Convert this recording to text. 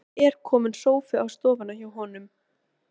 Það er kominn sófi á stofuna hjá honum.